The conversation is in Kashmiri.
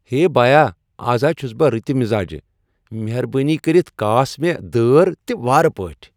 ہے بایا۔ از ہا چھس بہٕ رٔتہِ مزاجہٕ۔ مہربٲنی کاس مےٚ دٲر تہِ وارٕ پٲٹھۍ۔